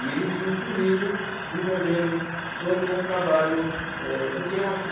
E eles vinham comigo desenvolvendo todo um trabalho é do teatro.